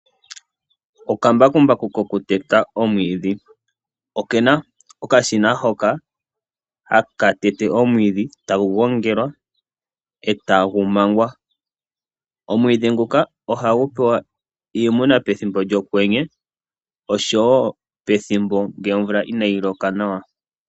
Okambakumba kokuteta omwiidhi okena okashina hono haka tete omwiidhi, etagu gongelwa, etagu mangwa . Omwiidhi nguka ohagu pewa iimuna pethimbo lyokwenye oshowoo pethimbo lyomvula inaayi loka nawa.